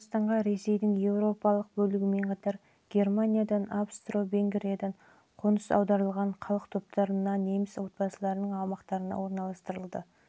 қазақстанға ресейдің еуропалық бөлігімен қатар германиядан австро-венгриядан қоныс аударылған халық топтарына неміс отбасыларының аумаққа тікелей